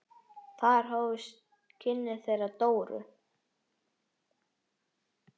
Þar hófust kynni þeirra Dóru.